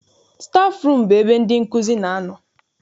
Stafụrum bụ ebe ndị nkụzi na-anọ.